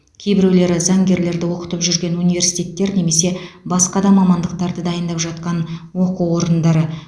кейбіреулері заңгерлерді оқытып жүрген университеттер немесе басқа да мамандықтарды дайындап жатқан оқу орындары